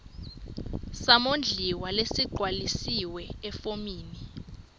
samondliwa lesigcwalisiwe efomini